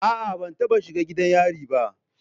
A'a, ban taba shiga gidan yari ba.